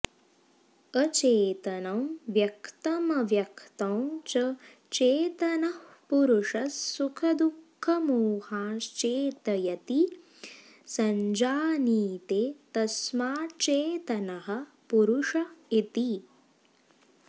अचेतनं व्यक्तमव्यक्तं च चेतनः पुरुषः सुखदुःखमोहांश्चेतयति संजानीते तस्माच्चेतनः पुरुष इति